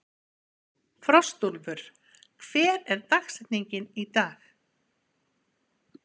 Frostúlfur, hver er dagsetningin í dag?